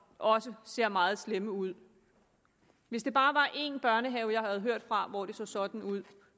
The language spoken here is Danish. også ser meget slemt ud hvis det bare var én børnehave jeg havde hørt fra hvor det så sådan ud